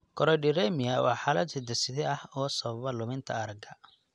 Choroideremia waa xaalad hidde-side ah oo sababa luminta aragga.